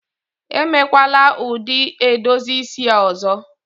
Emekwala ụdị edozi isi a ọzọ!